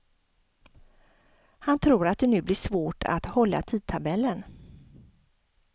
Han tror att det nu blir svårt att hålla tidtabellen.